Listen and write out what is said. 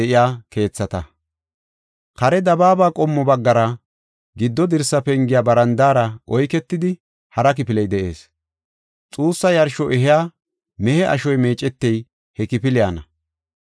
Kare dabaaba qommo baggara, giddo dirsa pengiya barandaara oyketidi, hara kifiley de7ees. Xuussa yarsho ehiya mehe ashoy meecetey he kifiliyana.